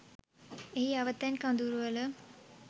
එහි අවතැන් කඳවුරුවල